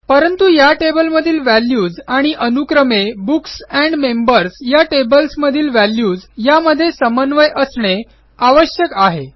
परंतु या टेबलमधील व्हॅल्यूज आणि अनुक्रमे बुक्स एंड मेंबर्स या टेबल्समधील व्हॅल्यूज यामध्ये समन्वय असणे आवश्यक आहे